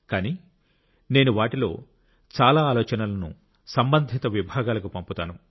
కానీ నేను వాటిలో చాలా ఆలోచనలను సంబంధిత విభాగాలకు పంపుతాను